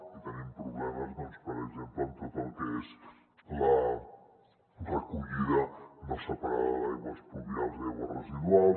i tenim problemes per exemple amb tot el que és la recollida no separada d’aigües pluvials i aigües residuals